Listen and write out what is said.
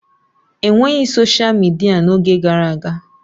E nweghị soshal midia n'oge gara aga.